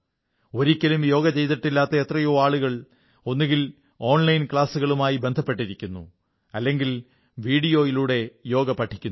ഒരിക്കലും യോഗ ചെയ്തിട്ടില്ലാത്ത എത്രയോ ആളുകൾ ഒന്നുകിൽ ഓൺലൈൻ ക്ലാസുകളുമായി ബന്ധപ്പെട്ടിരിക്കുന്നു അല്ലെങ്കിൽ വീഡിയോയിലൂടെ യോഗ പഠിക്കുന്നു